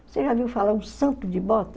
Você já viu falar o santo de bota?